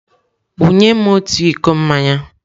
Wunye m otu iko mmanya!